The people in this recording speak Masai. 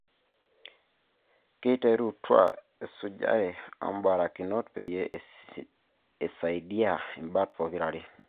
Kiterutua esujare ombarakinot peyie isaidia imbat pokira are